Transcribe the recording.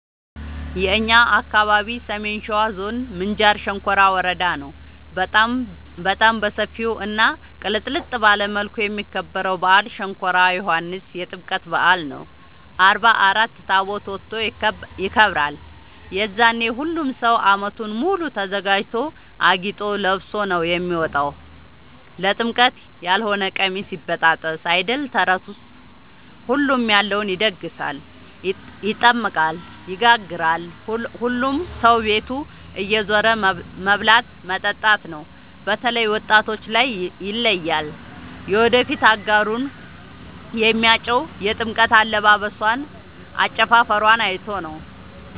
የእኛ አካባቢ ሰሜን ሸዋ ዞን ምንጃር ሸንኮራ ወረዳ ነው። በጣም በሰፊው እና ቅልጥልጥ ባለ መልኩ የሚከበረው በአል ሸንኮራ ዮኋንስ የጥምቀት በአል ነው። አርባ አራት ታቦት ወጥቶ ይከብራል። የዛኔ ሁሉም ሰው አመቱን ሙሉ ተዘጋጅቶ አጊጦ ለብሶ ነው የሚወጣው ለጥምቀት ያሎነ ቀሚስ ይበጣጠስ አይደል ተረቱስ ሁሉም ያለውን ይደግሳል። ይጠምቃል ይጋግራል ሁሉም ሰው ቤት እየዞሩ መብላት መጠጣት ነው። በተላይ ወጣቶች ላይ ይለያል። የወደፊት አጋሩን የሚያጨው የጥምቀት አለባበሶን አጨፉፈሯን አይቶ ነው።